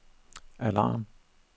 alarm